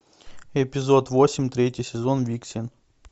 эпизод восемь третий сезон виксен